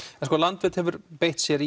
en sko Landvernd hefur beitt sér